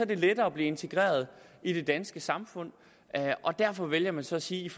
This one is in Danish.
det lettere at blive integreret i det danske samfund derfor vælger man så at sige